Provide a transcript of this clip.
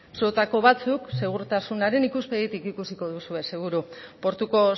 zuotako batzuk segurtasunaren ikuspegitik ikusiko duzue seguru portuko